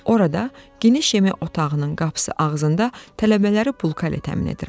Orada geniş yemək otağının qapısı ağzında tələbələri bulka ilə təmin edirəm.